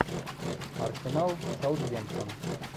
арсенал саутгемптон